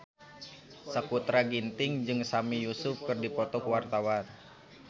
Sakutra Ginting jeung Sami Yusuf keur dipoto ku wartawan